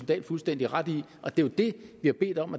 dahl fuldstændig ret i og det er jo det vi har bedt om